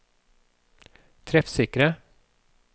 treffsikre